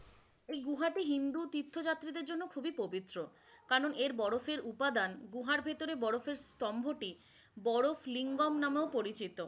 ঐ গোহাটি হিন্দু তীর্থযাত্রী দের জন্য খুবই পবিত্র, কারন এর বরফের উপাদান গুহার ভেতরে বরফের স্তম্ভটি বড় লিঙ্গম নামেও পরিচিত,